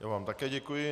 Já vám také děkuji.